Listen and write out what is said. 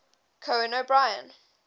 conan o brien